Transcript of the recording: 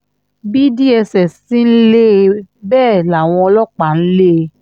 bí dss ti ń lé e bẹ́ẹ̀ làwọn ọlọ́pàá ń lé e